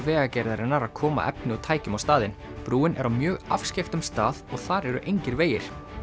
Vegagerðarinnar að koma efni og tækjum á staðinn brúin er á mjög afskekktum stað og þar eru engir vegir